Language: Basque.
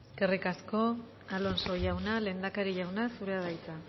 eskerrik asko alonso jauna lehendakari jauna zurea da hitza